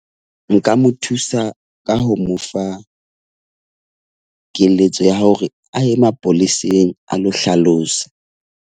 Nka mo thusa ka ho mo fa keletso ya hore a ye mapoleseng a lo hlalosa.